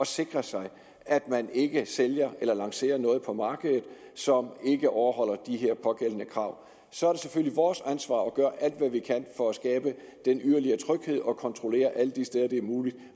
sikre sig at man ikke sælger eller lancerer noget på markedet som ikke overholder de pågældende krav så er det selvfølgelig vores ansvar at gøre alt hvad vi kan for at skabe den yderligere tryghed og kontrollere alle de steder hvor det er muligt